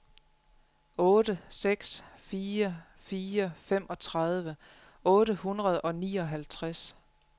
otte seks fire fire femogtredive otte hundrede og nioghalvtreds